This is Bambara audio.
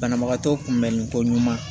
Banabagatɔ kunbɛnniko ɲuman